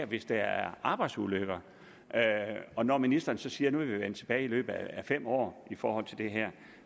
hvis det er arbejdsulykker når ministeren så siger at nu vil vi vende tilbage i løbet af fem år i forhold til det her